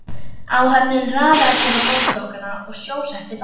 Áhöfnin raðaði sér á borðstokkana og sjósetti bátinn.